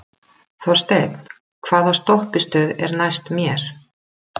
Þorsteinn, hvaða stoppistöð er næst mér?